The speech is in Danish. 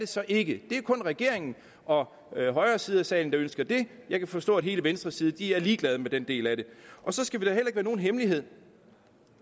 så ikke det er kun regeringen og højre side af salen der ønsker det jeg kan forstå at hele venstre side er ligeglade med den del af det så skal det da heller nogen hemmelighed at